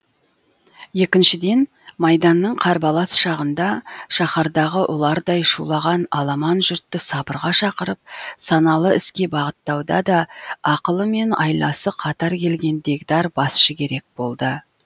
екіншіден майданның қарбалас шағында шаһардағы ұлардай шулаған аламан жұртты сабырға шақырып саналы іске бағыттауда да ақылы мен айласы қатар келген дегдар басшы керек болды